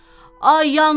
Ay, yandım!